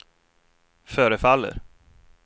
förefaller